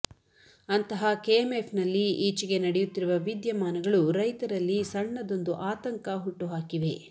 ಅಂತಹ ಕೆಎಂಎಫ್ನಲ್ಲಿ ಈಚೆಗೆ ನಡೆಯುತ್ತಿರುವ ವಿದ್ಯಮಾನಗಳು ರೈತರಲ್ಲಿ ಸಣ್ಣದೊಂದು ಆತಂಕ ಹುಟ್ಟುಹಾಕಿವೆ